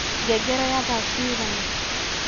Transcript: ngengere ya thaa cigana